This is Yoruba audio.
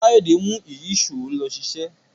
Kayode mú Ìyíṣòó ló ṣiṣẹ.